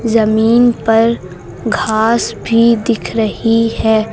जमीन पर घास भी दिख रही है।